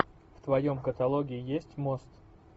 в твоем каталоге есть мост